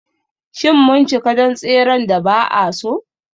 Shin mun cika don tseren da ba a so?